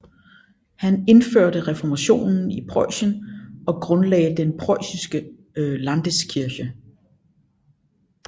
Han indførte reformationen i Preussen og grundlagde den preussiske Landeskirche